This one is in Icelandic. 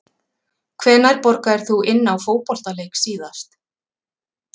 Hvenær borgaðir þú inn á fótboltaleik síðast?